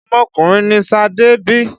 Ọmọkùnrin ni Ṣadé bí.